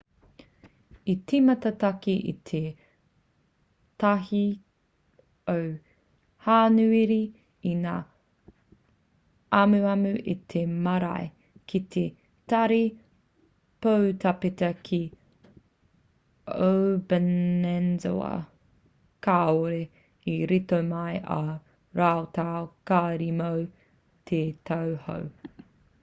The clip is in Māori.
i tīmata take i te 1 o hānuere i ngā amuamu a te marea ki te tari poutāpeta ki obanazawa kāore i rito mai ā rātou kāri mō te tau hou